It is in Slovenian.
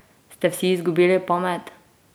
Ste vsi izgubili pamet?